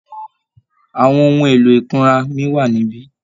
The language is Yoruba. Àwọn ohun èlò ìkunra mi wà níbí?